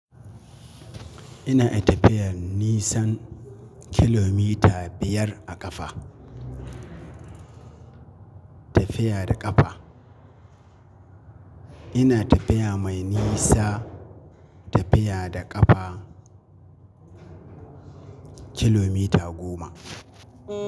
Ina iya tafiya nisan kilomita biyar a ƙafa. Tafiya da ƙafa. Ina tafiya mai nisa. Tafiya da ƙafa kilomita goma.